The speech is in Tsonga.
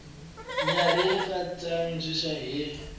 nyarhi a yi tsandziwi hi